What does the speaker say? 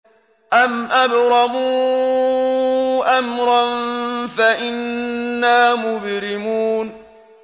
أَمْ أَبْرَمُوا أَمْرًا فَإِنَّا مُبْرِمُونَ